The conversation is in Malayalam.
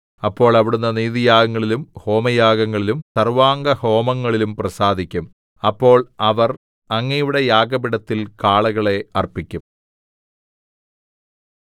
അപ്പോൾ അവിടുന്ന് നീതിയാഗങ്ങളിലും ഹോമയാഗങ്ങളിലും സർവ്വാംഗഹോമങ്ങളിലും പ്രസാദിക്കും അപ്പോൾ അവർ അങ്ങയുടെ യാഗപീഠത്തിൽ കാളകളെ അർപ്പിക്കും